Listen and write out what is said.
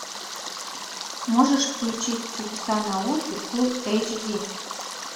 можешь включить чудеса науки фулл эйч ди